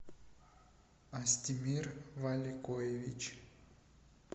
астемир валикоевич